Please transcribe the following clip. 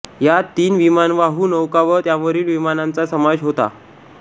यात तीन विमानवाहू नौका व त्यांवरील विमानांचाही समावेश होता